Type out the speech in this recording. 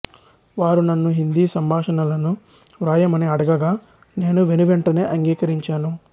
వారు నన్ను హిందీ సంభాషణలను వ్రాయమని అడగగా నేను వెనువెంటనే అంగీకరించాను